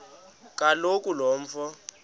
kaloku lo mfo